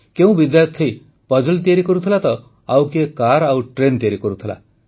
କେଉଁ ବିଦ୍ୟାର୍ଥୀ ପଜଲ୍ ତିଆରି କରୁଥିଲା ତ ଆଉ କିଏ କାର୍ ଓ ଟ୍ରେନ୍ ତିଆରି କରୁଥିଲା